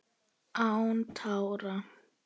Án tára: